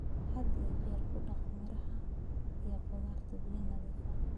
Had iyo jeer ku dhaq miraha iyo khudaarta biyo nadiif ah.